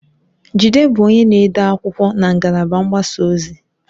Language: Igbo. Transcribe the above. Jide bụ onye na-ede akwụkwọ na ngalaba mgbasa ozi.